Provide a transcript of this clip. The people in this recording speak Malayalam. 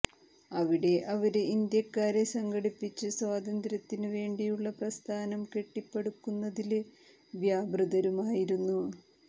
അവിടെ അവര് ഇന്ത്യക്കാരെ സംഘടിപ്പിച്ച് സ്വാതന്ത്ര്യത്തിനു വേണ്ടിയുള്ള പ്രസ്ഥാനം കെട്ടിപ്പടുക്കുന്നതില് വ്യാപൃതരുമായിരുന്നു